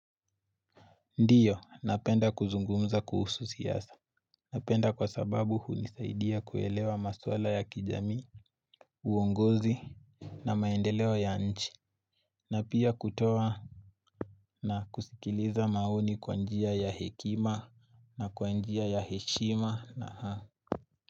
Ndiyo napenda kuzungumza kuhusu siyasa napenda kwa sababu hunisaidia kuelewa maswala ya kijamii uongozi na maendeleo ya nchi na pia kutoa na kusikiliza maoni kwa njia ya hekima na kwa njia ya heshima na haa.